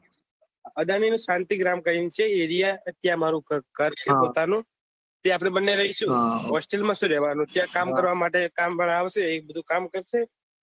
અદાની શાંતિ ગ્રામ કરી ને છે અરે ત્યાં આમરે ઘર છે પોતાનું ત્યાં આપડે બંને રહીશું હા hostel માં શું રેહવાનું ત્યાં કામ કરવા માટે કામ વાળો આવશે એ બધું કામ કરશે